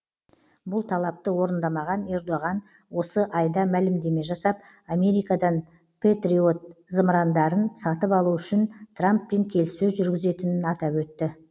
бұл талапты орындамаған ердоған осы айда мәлімдеме жасап америкадан пэтриот зымырандарын сатып алу үшін трамппен келіссөз жүргізетінін атап өтті